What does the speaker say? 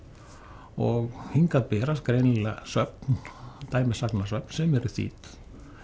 og hingað berast greinilega söfn sem eru þýdd